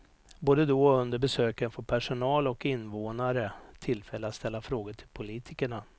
Både då och under besöken får personal och invånare tillfälle att ställa frågor till politikerna.